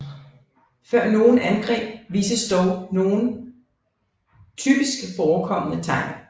Før nogle angreb vises dog nogle typisk forekommende tegn